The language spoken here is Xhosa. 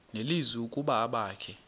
nelizwi ukuba abakhe